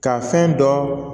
Ka fɛn dɔn